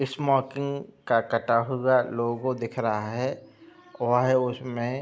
Smoking का कटा हुआ लोगो दिख रहा है। वह उसमें --